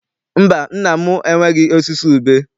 Mba, nna m enweghị osisi ube.